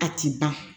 A ti ban